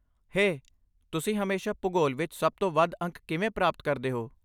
ਹੇ, ਤੁਸੀਂ ਹਮੇਸ਼ਾ ਭੂਗੋਲ ਵਿੱਚ ਸਭ ਤੋਂ ਵੱਧ ਅੰਕ ਕਿਵੇਂ ਪ੍ਰਾਪਤ ਕਰਦੇ ਹੋ?